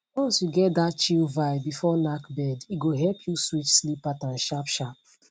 once you get that chill vibe before knack bed e go help you switch sleep pattern sharpsharp